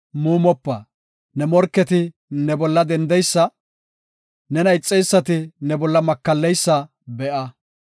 Ne morketi ne bolla dendeysa, nena ixeysati ne bolla makalleysa be7a.